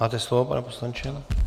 Máte slovo, pane poslanče.